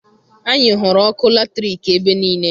Anyị hụrụ ọkụ latriki ebe niile.